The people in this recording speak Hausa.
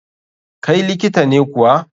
kai likita ne kuwa?